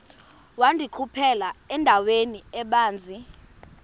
wandikhuphela endaweni ebanzi